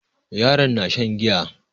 Yaron na shan giya.